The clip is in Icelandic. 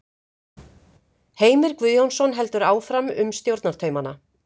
Heimir Guðjónsson heldur áfram um stjórnartaumana.